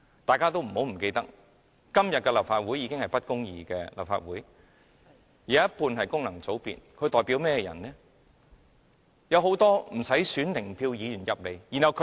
大家不要忘記，今天的立法會已經是不公義的立法會，半數議席由功能界別議員佔據，他們代表甚麼人呢？